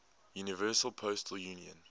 universal postal union